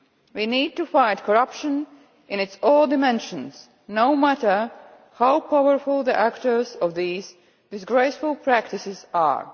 We need to fight corruption in all its dimensions, no matter how powerful the authors of these disgraceful practices are.'